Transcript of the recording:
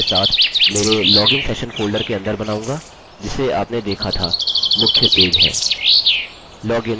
मैं इसे index dot php के साथ मेरे लॉगिन सेशन फोल्डर के अंदर बनाऊँगा जिसे आपने देखा था मुख्य पेज है